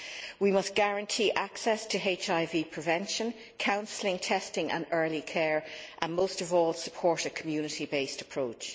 We must guarantee access to HIV prevention, counselling, testing and early care, and most of all, support a community based approach.